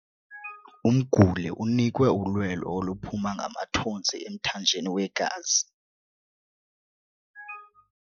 Umguli unikwe ulwelo oluphuma ngamathontsi emthanjeni wegazi.